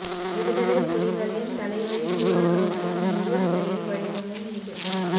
விடுதலைப் புலிகளின் தலைவரின் தூர நோக்கும் முழு செயல் வடிவமும் இது